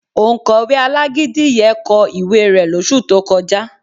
Òǹkọ̀wé alágídí yẹ kọ ìwé rẹ̀ lóṣù tó kọjá